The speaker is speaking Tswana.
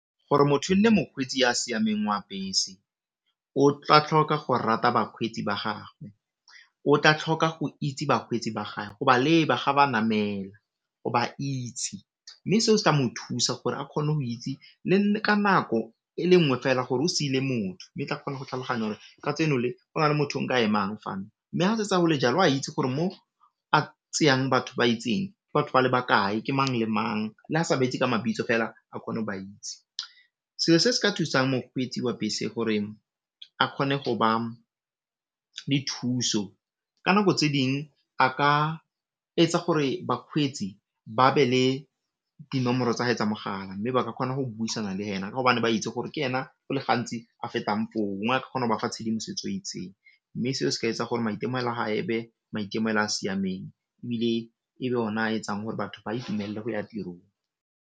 Gore motho e nne mokgweetsi ya siameng wa bese o tla tlhoka go rata bakgweetsi ba gagwe, o tla tlhoka go itse bakgweetsi ba gae, go ba leba ga ba namela, go ba itse mme seo se tla mo thusa gore a kgone go itse le ka nako e le nngwe fela gore o sile motho mme tla kgona go tlhaloganya gore kajeno le go na le motho nke a ema fa, mme ga se tse gole jalo oa itse gore mo a tseyang batho ba itseng batho ba le bakae ke mang le mang, le a sa ba itse ka mabitso fela a kgone go ba itse. Selo se se ka thusang mokgweetsi wa bese gore a kgone go ba le thuso ka nako tse ding a ka etsa gore bakgweetsi ba be le dinomoro tsa gae tsa mogala mme ba ka kgona go buisana le ena ka gobane ba itse gore ke ena go le gantsi a fetang foo kgona go ba fa tshedimosetso e itseng mme seo se ka etsa gore maitemogelo a gae ebe maitemogelo a siameng ebile e be o na a etsang gore batho ba itumelle go ya tirong.